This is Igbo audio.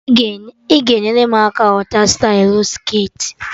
Ị ga-enyere m aka ghọta stylụ skirtị?